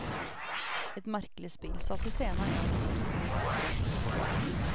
Et merkelig spill, satt i scene av en av de store diktere i vårt land.